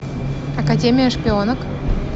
академия шпионок